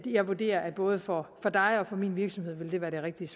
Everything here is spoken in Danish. jeg vurderer at både for dig og for min virksomhed vil det være det rigtige